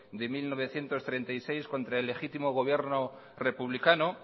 del mil novecientos treinta y seis contra el legítimo gobierno republicano